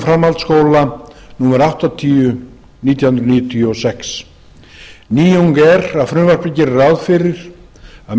framhaldsskóla númer áttatíu nítján hundruð níutíu og sex nýjung er að frumvarpið gerir ráð fyrir að